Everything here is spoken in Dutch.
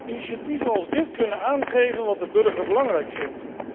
Initiatieven als dit kunnen aangeven wat de burger belangrijk vindt.